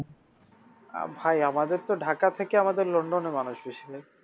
ভাই আমাদের তো ঢাকা থেকে আমাদের লন্ডনে মানুষ বেশি ভাই